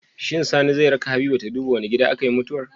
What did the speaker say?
Shin Sani zai raka habiba ta duba wane gida akayi mutuwar